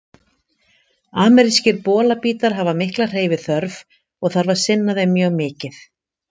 Amerískir bolabítar hafa mikla hreyfiþörf og þarf að sinna þeim mjög mikið.